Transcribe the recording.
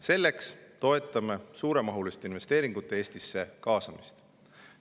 Selleks toetame suuremahuliste investeeringute kaasamist Eestisse.